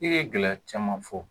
I ye gɛlɛya caman fɔ